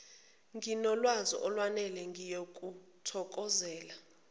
nginolwazi olwenele ngiyokuthokozela